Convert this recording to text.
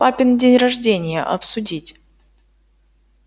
папин день рождения обсудить